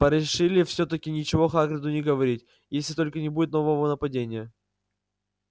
порешили всё-таки ничего хагриду не говорить если только не будет нового нападения